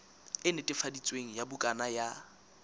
e netefaditsweng ya bukana ya